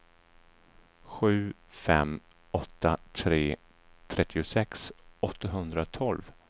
sju fem åtta tre trettiosex åttahundratolv